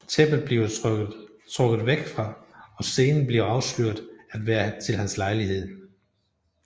Tæppet bliver trukket fra og scenen bliver afsløret at være til hans lejlighed